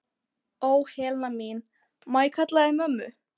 Ó, Helena mín, má ég kalla þig mömmu?